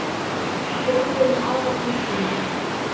Hann grípur um aðra hönd hennar.